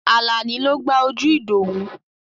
Àlàní ló gbá ojú Ìdòwú.